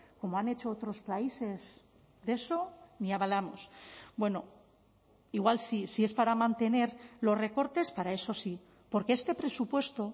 como han hecho otros países de eso ni hablamos bueno igual sí si es para mantener los recortes para eso sí porque este presupuesto